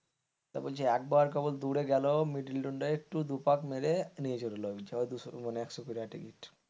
তা বলছে একবার কেবল দূরে গেল middle দু পাক মেরে নিয়ে চলে এলো মানে একশো কুড়ি টাকা টিকিট,